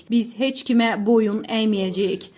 Biz heç kimə boyun əyməyəcəyik.